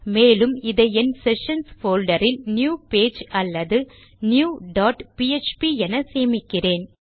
மேலும் இதை என் செஷன்ஸ் போல்டர் இல் நியூ பேஜ் அல்லது நியூ டாட் பிஎச்பி என சேமிக்கிறேன்